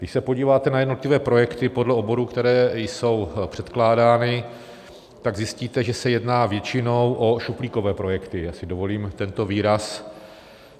Když se podíváte na jednotlivé projekty podle oborů, které jsou předkládány, tak zjistíte, že se jedná většinou o šuplíkové projekty - já si dovolím tento výraz.